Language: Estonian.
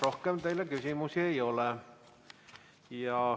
Rohkem teile küsimusi ei ole.